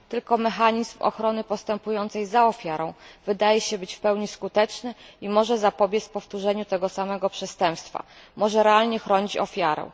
Tylko mechanizm ochrony postępującej za ofiarą wydaje się być w pełni skuteczny i może zapobiec powtórzeniu tego samego przestępstwa, może realnie chronić ofiarę.